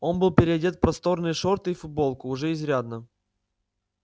он был переодет в просторные шорты и футболку уже изрядно